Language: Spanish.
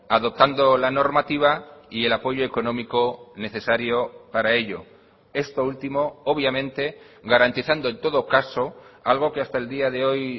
adoptando la normativa y el apoyo económico necesario para ello esto último obviamente garantizando en todo caso algo que hasta el día de hoy